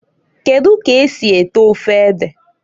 Kedu ka esi eto ofe ede?